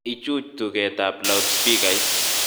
Ichuch tugetab loudspeakeit